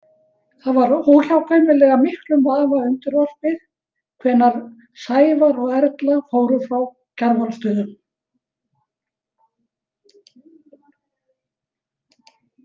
Það var óhjákvæmilega miklum vafa undirorpið hvenær Sævar og Erla fóru frá Kjarvalsstöðum.